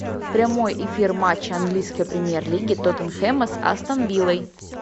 прямой эфир матча английской премьер лиги тоттенхэма с астон виллой